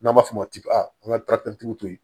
N'an b'a fɔ o ma ko an ka to yen